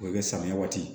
O bɛ kɛ samiya waati